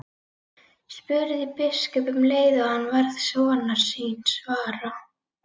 spurði biskup um leið og hann varð sonar síns var.